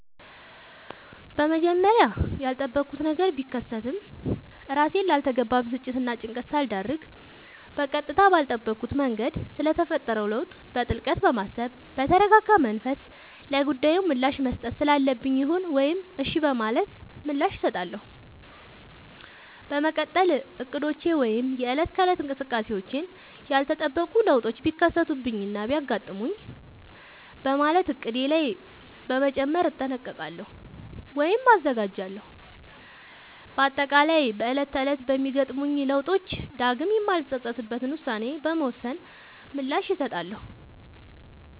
በመጀመሪያ ያልጠበኩት ነገር ቢከሰትም እራሴን ላልተገባ ብስጭትናጭንቀት ሳልዳርግ በቀጥታ ባልጠበኩት መንገድ ስለተፈጠረው ለውጥ በጥልቀት በማሰብ በተረጋጋመንፈስ ለጉዳዩ ምላሽ መስጠት ስላለብኝ ይሁን ወይም እሽ በማለት ምላሽ እሰጣለሁ። በመቀጠል እቅዶቼ ወይም የእለት ከእለት እንቅስቃሴዎቼን ያልተጠበቁ ለውጦች ቢከሰቱብኝናቢያጋጥሙኝ በማለት እቅዴ ላይ በመጨመር እጠነቀቃሉ ወይም እዘጋጃለሁ። በአጠቃላይ በእለት ተእለት በሚገጥሙኝ ለውጦች ዳግም የማልፀፀትበትን ውሳኔ በመወሰን ምላሽ እሰጣለሁ።